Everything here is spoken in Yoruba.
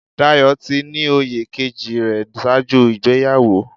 Dayọ̀ ti ní oyè kejì rẹ̀ ṣáájú ìgbéyàwó.